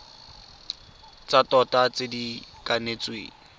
tsa tota tse di kanetsweng